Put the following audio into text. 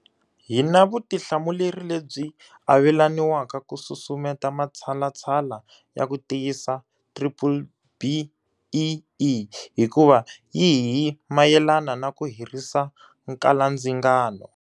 Hi na vutihlamuleri lebyi avelaniwaka ku susumeta matshalatshala ya ku tiyisa BBBEE hikuva yi hi mayelana na ku herisa nkalandzingano.